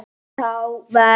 Þá verð